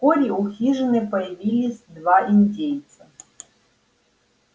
вскоре у хижины появились два индейца